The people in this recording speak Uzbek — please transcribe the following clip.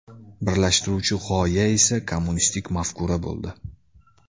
Birlashtiruvchi g‘oya esa kommunistik mafkura bo‘ldi.